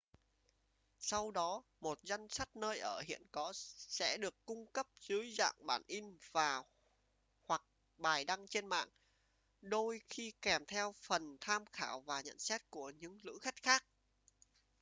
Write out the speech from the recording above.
sau đó một danh sách nơi ở hiện có sẽ được cung cấp dưới dạng bản in và/hoặc bài đăng trên mạng đôi khi kèm theo phần tham khảo và nhận xét của những lữ khách khác